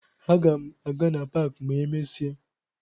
Aga m aga na paakị ma emesịa